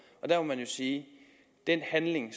man sige at den handling